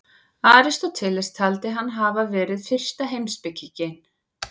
Aristóteles taldi hann hafa verið fyrsta heimspekinginn.